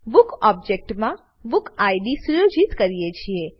book ઓબજેક્ટમાં book id સુયોજિત કરીએ છીએ